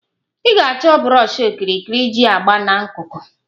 Ị ga-achọ brọshi okirikiri iji agba na nkuku